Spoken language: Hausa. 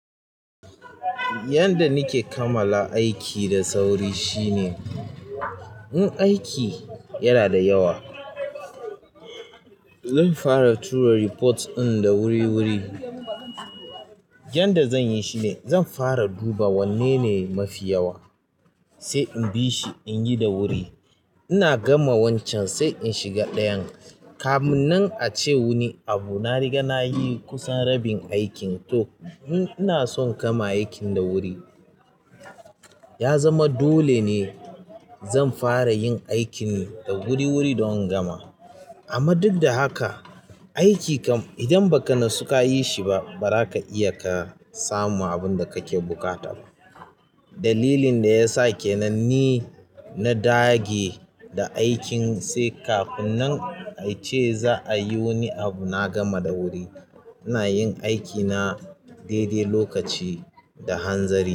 Yanda nake kamala aiki da sauri shine in aiki yana da yawa, zan fara tura reports ɗin da wuri wuri. Yanda zan yi shine zan fara duba wanne ne mafi yawa sai in bi shi in yi da wuri. Ina gama wancan sai in shiga ɗayan. Kamun nan a ce wani abu na riga na yi kusan rabin aikin. To in ina son in kama aikin da wuri. Ya zama dole ne zan fara yin aikin da wuri wuri don gama. Amma duk da haka aiki kam idan ba ka nasu ka yi shi ba ba ra ka iya ka samu abun da kake buƙata ba. Dalilin da ya sa ke nan ni na dage da aikin sai kafun nan a ce za a yi wani abu na gama da wuri. Ina yin aikina daidai lokaci da hanzari.